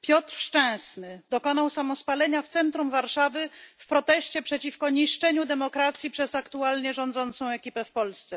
Piotr Szczęsny dokonał samospalenia w centrum Warszawy w proteście przeciwko niszczeniu demokracji przez aktualnie rządzącą ekipę w Polsce.